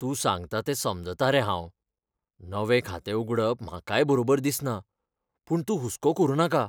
तूं सांगता तें समजतां रे हांव. नवें खातें उगडप म्हाकाय बरोबर दिसना, पूण तूं हुस्को करुं नाका.